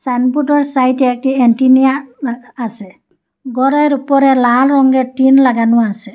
সাইনবোর্ডের সাইডে একটি অ্যান্টেনিয়া আসে গরের ওপরে লাল রঙের টিন লাগানো আসে ।